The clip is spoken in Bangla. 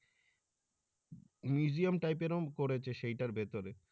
museum type এরও করেছে সেইটার ভিতরে।